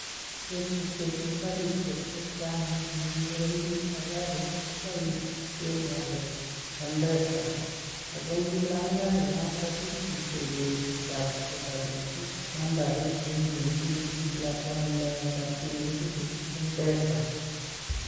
Botushe chu karishe chechang ko Boise mpesa ago ingilang kari notok itebee chito ab kobo karit nambarit nee imuchi ilibanee rabinik eng mpesa